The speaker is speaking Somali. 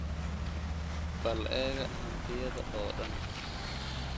Bal eega hantidayda oo dhan